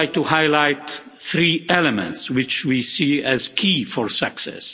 would like to highlight three elements which we see as key for success.